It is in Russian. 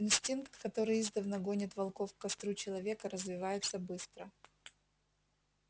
инстинкт который издавна гонит волков к костру человека развивается быстро